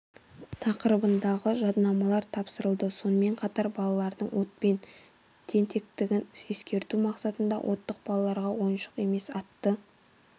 тақырыбындағы жадынамалар тапсырылды сонымен қатар балалардың отпен тентектігін ескерту мақсатында оттық балаларға ойыншық емес атты